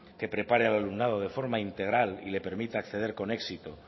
que prepare al alumnado de forma integral y le permita acceder con éxito